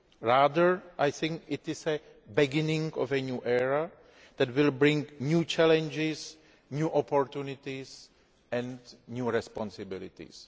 Rather I think it is the beginning of a new era that will bring new challenges, new opportunities and new responsibilities.